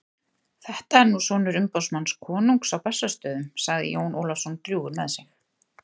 Þetta er nú sonur umboðsmanns konungs á Bessastöðum, sagði Jón Ólafsson drjúgur með sig.